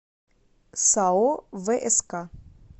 сао вск